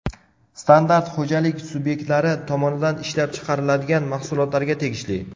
Standart xo‘jalik subyektlari tomonidan ishlab chiqariladigan mahsulotlarga tegishli.